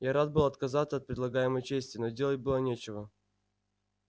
я рад был отказаться от предлагаемой чести но делать было нечего